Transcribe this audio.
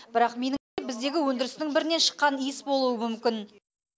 бірақ біздегі өндірістің бірінен шыққан иіс болуы мүмкін